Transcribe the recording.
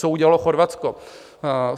Co udělalo Chorvatsko?